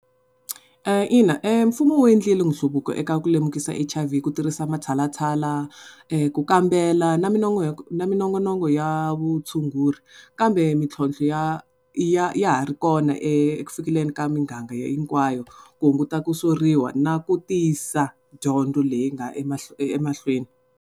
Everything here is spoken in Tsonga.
Ina mfumo wu endlile nhluvuko eka ku lemukisa hi H_I_V ku tirhisa matshalatshala, ku kambela na na minongonoko ya vutshunguri kambe mitlhontlho ya ya ya ha ri kona eku fikeleleni ka miganga hinkwayo ku hunguta ku soriwa na ku tisa dyondzo leyi nga emahlweni.